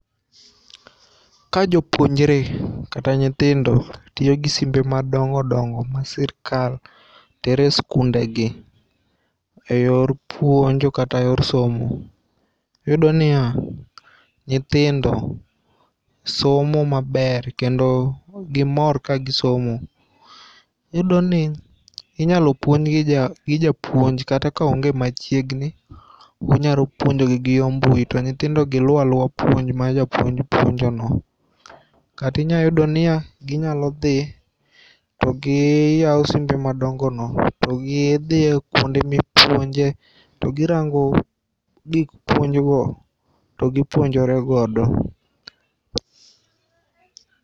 Ka jopuonjre kata nyithindo tiyo gi simbe madongo dongo ma sirkal tere e skunde gi eyor puonjo kata e yor somo. Iyudo niya, nyithindo somo maber kendo gimor kagisomo. Iyudo ni inyalo puonjgi gi japuonj kata ka onge machiegni. Onyalo puonjogi gi yor mbui to nyithindogi luwo aluwa puonj ma japuonj puonjo no. Kata inyayudo niya ginyalo dhi to gi ywa simbe madongo no to gidhiye kuonde mipuonje to girango puonj gik go to gipuonjore godo.